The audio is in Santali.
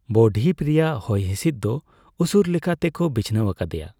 ᱵᱚᱼᱫᱷᱤᱯ ᱨᱮᱭᱟᱜ ᱦᱚᱭᱦᱤᱥᱤᱫ ᱫᱚ ᱩᱥᱩᱨ ᱞᱮᱠᱟᱛᱮ ᱠᱚ ᱵᱤᱪᱷᱱᱟᱹᱣ ᱟᱠᱟᱫᱮᱭᱟ ᱾